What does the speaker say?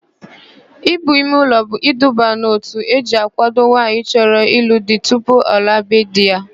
Íbù imeụlọ bụ iduba n'òtù eji àkwádo nwaanyị chọrọ ịlụ di tupu ọ laa be di ya.